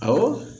Awɔ